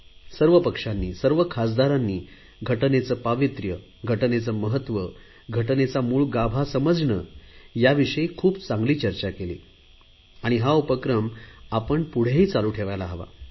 सर्व पक्षांनी सर्व खासदारांनी घटनेचे पावित्र्य घटनेचे महत्त्व घटनेचा मूळ गाभा समजणे याविषयी खूप चांगली चर्चा केली हा उपक्रम आपण पुढे ही चालू ठेवायला हवा